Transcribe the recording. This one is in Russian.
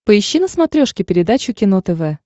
поищи на смотрешке передачу кино тв